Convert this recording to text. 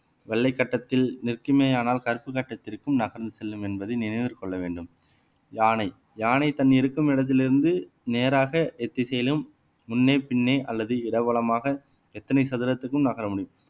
வெள்ளை கட்டத்தில் நிற்குமேயானால் கருப்பு கட்டத்திற்கும் நகர்ந்து செல்லும் என்பதை நினைவில் கொள்ள வேண்டும் யானை யானை தன் இருக்கும் இடத்திலிருந்து நேராக எத்திசையிலும் முன்னே பின்னே அல்லது இடவலமாக எத்தனை சதுரத்துக்கும் நகர முடியும்